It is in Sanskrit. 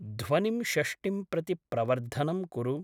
ध्वनिं षष्टिं प्रति प्रवर्धनं कुरु।